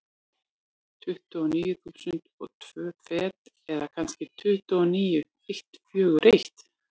Tuttugu og níu þúsund og tvö fet, eða kannski tuttugu og níu eitt fjögur eitt.